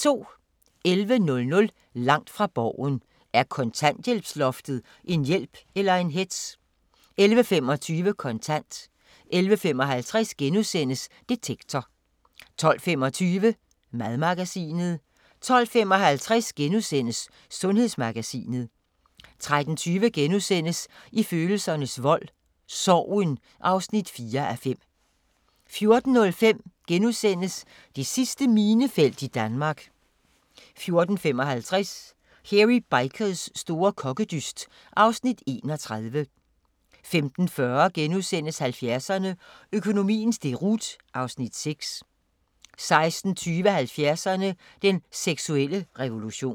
11:00: Langt fra Borgen: Er kontanthjælpsloftet en hjælp eller en hetz? 11:25: Kontant 11:55: Detektor * 12:25: Madmagasinet 12:55: Sundhedsmagasinet * 13:20: I følelsernes vold – Sorgen (4:5)* 14:05: Det sidste minefelt i Danmark * 14:55: Hairy Bikers store kokkedyst (Afs. 31) 15:40: 70'erne: Økonomiens deroute (Afs. 6)* 16:20: 70'erne: Den seksuelle revolution